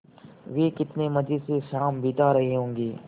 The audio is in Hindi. वे कितने मज़े से शाम बिता रहे होंगे